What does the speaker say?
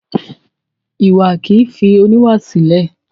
Iwa kì í fi oníwà sílẹ̀.